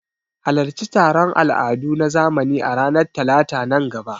Halarci taron al'adu na zamani a ranar Talata a nan gaba.